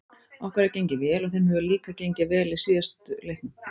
Okkur hefur gengið vel og þeim hefur líka gengið vel í síðustu leiknum.